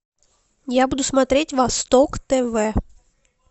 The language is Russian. я буду смотреть восток тв